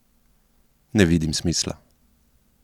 Ne vidim smisla!